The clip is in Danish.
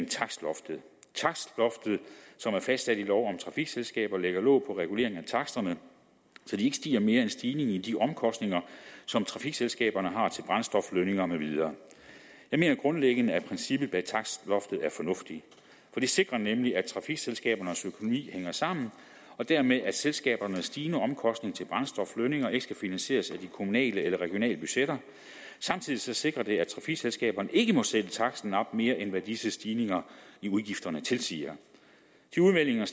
takstloftet som er fastsat i lov om trafikselskaber lægger låg på regulering af taksterne så de ikke stiger mere end stigningen i de omkostninger som trafikselskaberne har til brændstof lønninger med videre jeg mener grundlæggende at princippet bag takstloftet er fornuftigt for det sikrer nemlig at trafikselskabernes økonomi hænger sammen og dermed at selskabernes stigende omkostning til brændstof og lønninger ikke skal finansieres af de kommunale eller regionale budgetter samtidig sikrer det at trafikselskaberne ikke må sætte taksten op med mere end hvad disse stigninger i udgifterne tilsiger de udmeldinger